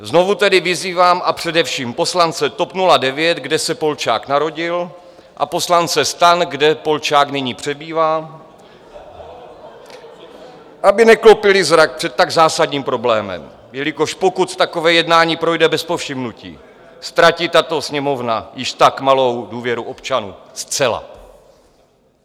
Znovu tedy vyzývám, a především poslance TOP 09, kde se Polčák narodil, a poslance STAN, kde Polčák nyní přebývá, aby neklopili zrak před tak zásadním problémem, jelikož pokud takové jednání projde bez povšimnutí, ztratí tato Sněmovna již tak malou důvěru občanů zcela.